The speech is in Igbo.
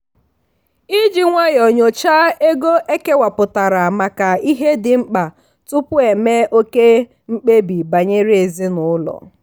iji nwayọọ nyocha ego ekewapụtara maka ihe dị mkpa tupu eme oke mkpebi banyere ezinụlọ.